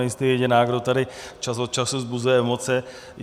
Nejste jediná, kdo tady čas od času vzbuzuje emoce.